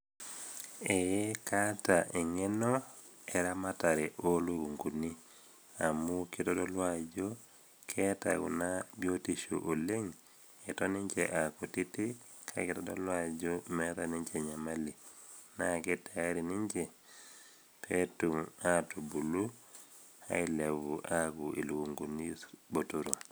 Eeh kaata eng'eno ooramatare oo ilukunguni, amu keitodolu Kuna ajo keata ninche biotisho sidai oleng' ata aa kutitik kake eitadolu ajo meata ninche enyamali, naake tayari ninche pee etum aabulu aaku ilukunguni sapukin botoro.